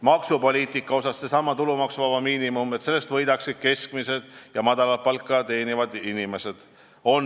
Maksupoliitikas on meie erinevus seesama tulumaksuvaba miinimum, see, et sellest muudatusest võidaksid keskmist ja madalat palka teenivad inimesed.